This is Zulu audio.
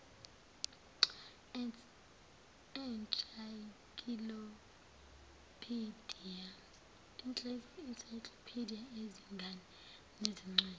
ensaykilophidiya ezingane nezincwadi